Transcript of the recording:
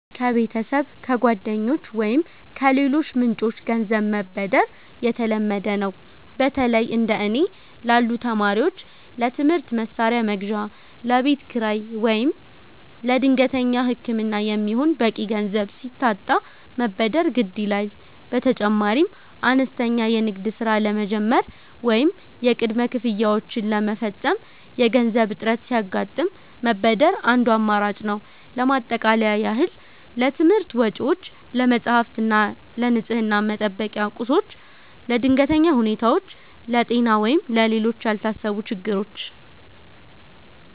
ከቤተሰብ፣ ከጓደኞች ወይም ከሌሎች ምንጮች ገንዘብ መበደር የተለመደ ነው። በተለይ እንደ እኔ ላሉ ተማሪዎች ለትምህርት መሣሪያ መግዣ፣ ለቤት ኪራይ ወይም ለድንገተኛ ሕክምና የሚሆን በቂ ገንዘብ ሲታጣ መበደር ግድ ይላል። በተጨማሪም አነስተኛ የንግድ ሥራ ለመጀመር ወይም የቅድመ ክፍያዎችን ለመፈጸም የገንዘብ እጥረት ሲያጋጥም መበደር አንዱ አማራጭ ነው። ለማጠቃለያ ያህል: ለትምህርት ወጪዎች፦ ለመጻሕፍት እና ለንፅህና መጠበቂያ ቁሶች። ለድንገተኛ ሁኔታዎች፦ ለጤና ወይም ለሌሎች ያልታሰቡ ችግሮች።